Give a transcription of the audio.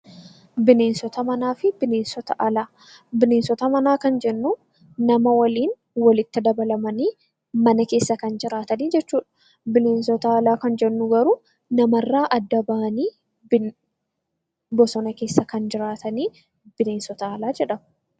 Bineensota manaa kan jennuun nama waliin walitti dabalamanii mana keessa kan jiraatan jechuudha. Bineensota alaa kan jennu immoo namarraa adda bahanii bosona keessa kan jiraatanidha.